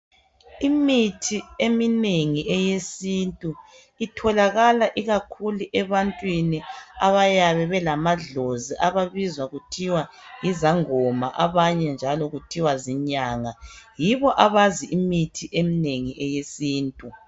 Imithi eminengi eyesintu, itholakala ikakhulu ebantwini abayabe belamadlozi, ababizwa kuthiwa yizangoma. Abanye njalo kuthiwa zinyanga. Yibo abazi imithi eminengi, eyesintu.